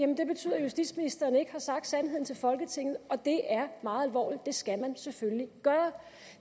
at justitsministeren ikke har sagt sandheden til folketinget og det er meget alvorligt det skal man selvfølgelig gøre